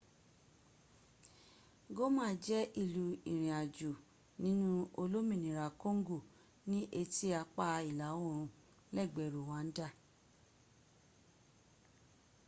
goma jẹ́ ìlú ìrìn ajo nínú olominira kongo ní etí apá ìlà orùn lẹ́gbẹ́ ruwanda